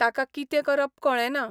ताका कितें करप कळेना.